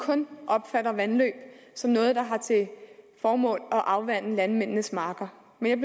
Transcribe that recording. kun opfatter vandløb som noget der har til formål at afvande landmændenes marker men